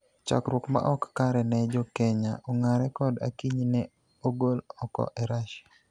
Chakruok ma ok kare ne Jo Kenya, Ongare kod Akinyi ne ogol oko e Russia